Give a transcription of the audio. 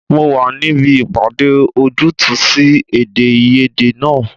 Mo wà níbí ìpàdé ojútùú sí èdèàìyedè náà